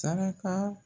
Saraka